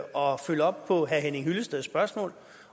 og følge op på herre henning hyllesteds spørgsmål